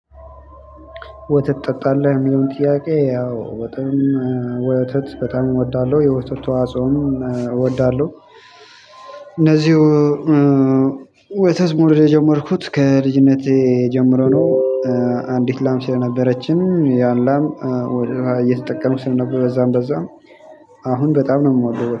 ወተት ትጠጣለህ የሚለው ጥያቄ ያው ወተት በጣም እወዳለሁ የወተት ተዋጽኦም እወዳለሁ። እነዚው ወተት መውደድ የጀመርኩት ከልጅነቴ ጀምሮ ነው። አንዲት ላም ስለነበረችን ያም ላም ወተቷ እየተጠቀምኩ ስለነበር በዛም በዛም አሁን በጣም ነው ምወደው